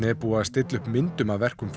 er búið að stilla myndum af verkum